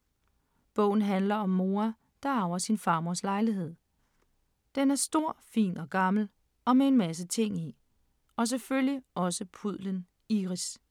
Bogen handler om Moa, der arver sin farmors lejlighed. Den er stor, fin og gammel og med en masse ting i, og så selvfølgelig også pudlen Iris.